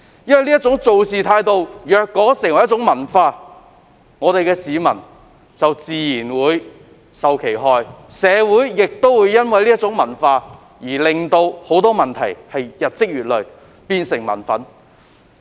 如果這種處事態度成為文化，市民自然會身受其害，而這種文化亦會導致社會上的很多問題日積月累，成為民憤。